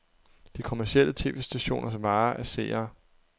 De kommercielle tv-stationers vare er seere.